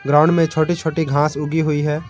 Ground में छोटी छोटी घास उगी हुई है।